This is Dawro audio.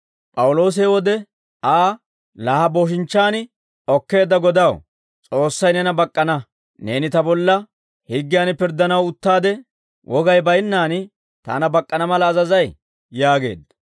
P'awuloosi he wode Aa, «Laa ha booshinchchaan okkeedda godaw, S'oossay neena bak'k'ana. Neeni ta bolla higgiyan pirddanaw uttaade, wogay baynnaan taana bak'k'ana mala azazay?» yaageedda.